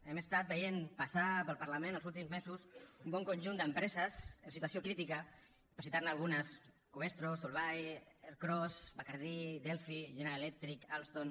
hem estat veient passar pel parlament els últims mesos un bon conjunt d’empreses en situació crítica per citar ne algunes covestro solvay ercros bacardí delphi general electric alstom